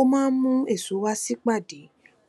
ó máa ń mú èso wá sípàdé